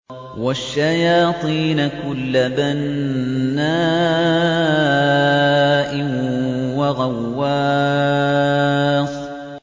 وَالشَّيَاطِينَ كُلَّ بَنَّاءٍ وَغَوَّاصٍ